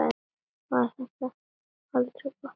Var það aldrei gott?